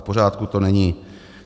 V pořádku to není.